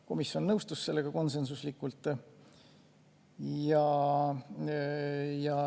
Komisjon nõustus sellega konsensuslikult.